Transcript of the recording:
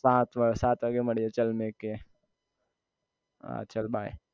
સાત સાત વાગ્યે મળીયે ચલ મેકીયે હા ચલ by